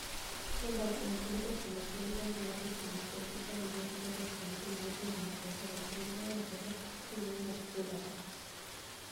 (northerni Echo)Liverpool ok niigi gombo mar loso winijruok gi Briani Were ma ja Astoni Villa ma jahiginii 21, ma wachore nii ni e owuok Villa Park.